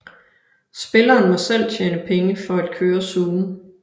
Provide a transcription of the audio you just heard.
Spilleren må selv tjene penge for at køre zooen